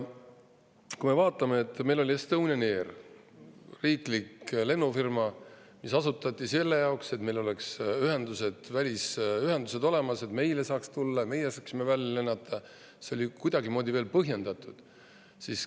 Kui me vaatame, et meil oli Estonian Air, riiklik lennufirma, mis asutati selle jaoks, et meil oleks olemas välisühendused, et meile saaks tulla ja meie saaksime välja lennata, siis see oli kuidagimoodi veel põhjendatud.